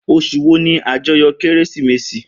Osùn wo ni ajoyọ kérésìmesì?